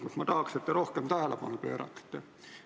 Tahaks, et te sellele rohkem tähelepanu pööraksite.